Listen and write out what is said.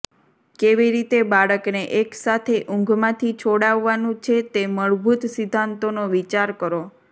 કેવી રીતે બાળકને એક સાથે ઊંઘમાંથી છોડાવવાનું છે તે મૂળભૂત સિદ્ધાંતોનો વિચાર કરો